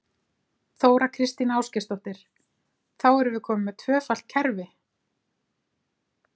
Þóra Kristín Ásgeirsdóttir: Þá erum við komin með tvöfalt kerfi?